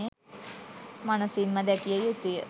මනසින්ම දැකිය යුතුය.